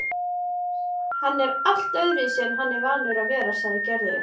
Hann er allt öðruvísi en hann er vanur að vera, sagði Gerður.